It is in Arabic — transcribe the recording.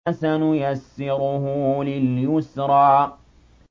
فَسَنُيَسِّرُهُ لِلْيُسْرَىٰ